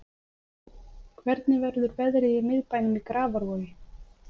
hvernig verður veðrið í miðbænum í grafavogi